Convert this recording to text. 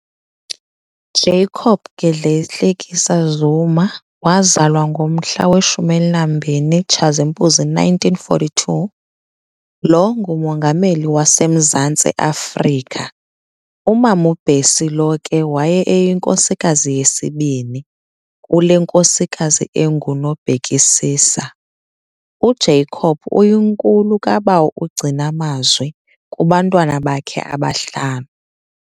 Jacob Gedleyihlekisa Zuma, wazalwa ngomhla we-12 Tshazimpuzi 1942-, lo nguMongameli waseMzantsi Afrika. Umam'uBessie lo ke waye eyinkosikazi yesibini.kule nkosikazi enguNobhekisisa, u-Jacob uyinkulu kaBawo uGcinamazwi kubantwana bakhe abahlanu.